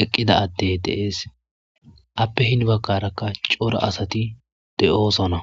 eqqida addey deees appe hin baggarakka cora asati de7oosona.